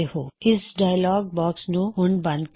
ਇਸ dialogue box ਨੂੰ ਹੁਣ ਬੰਦ ਕਰੋ